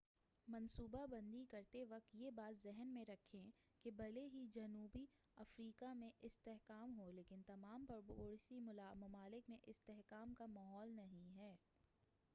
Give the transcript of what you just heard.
منصوبہ بندی کرتے وقت یہ بات ذہن میں رکھیں کہ بھلے ہی جنوبی افریقہ میں استحکام ہو لیکن تمام پڑوسی ممالک میں استحکام کا ماحول نہیں ہے